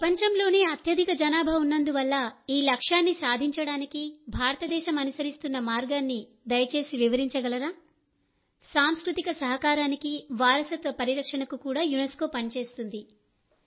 ప్రపంచంలోనే అత్యధిక జనాభా ఉన్నందువల్ల ఈ లక్ష్యాన్ని సాధించడానికి భారత దేశం అనుసరిస్తున్న మార్గాన్ని దయచేసి వివరించగలరా సంస్కృతిలో సహకారానికి వారసత్వ పరిరక్షణకు కూడా యునెస్కో పని చేస్తుంది